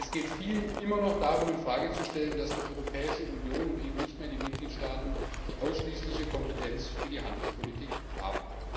Es geht vielen immer noch darum, in Frage zu stellen, dass die Europäische Union und eben nicht mehr die Mitgliedstaaten die ausschließliche Kompetenz für die Handelspolitik haben.